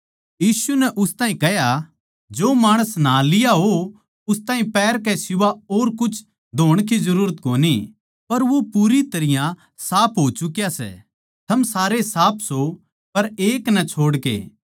यीशु नै उस ताहीं कह्या जो माणस न्हा लिया हो उस ताहीं पैर कै सिवाय और कुछ धोण की जरूरत कोनी पर वो पूरी तरियां साफ हो चुका सै थम सारे साफ सो पर एक नै छोड़ के